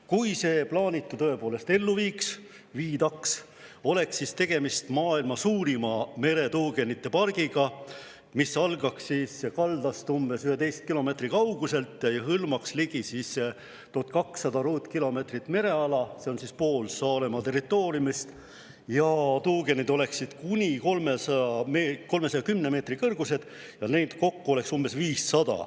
Kui see plaanitu tõepoolest ellu viidaks, oleks tegemist maailma suurima meretuugenite pargiga, mis algaks kaldast umbes 11 kilomeetri kauguselt ja hõlmaks ligi 1200 ruutkilomeetrit mereala – see on pool Saaremaa territooriumist –, tuugenid oleksid kuni 310 meetri kõrgused ja neid kokku oleks umbes 500.